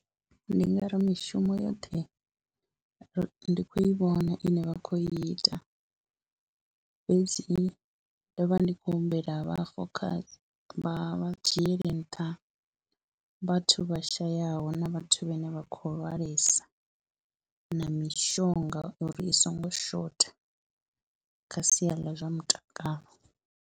Ndi nga ri mishumo yoṱhe ndi khou i vhona ine vha khou ita fhedzi ndo vha ndi khou humbela vha fokhase, vha dzhiele nṱha vhathu vha shayaho na vhathu vhane vha khou lwalesa na mishonga uri i songo shotha kha sia ḽa zwa mutakalo.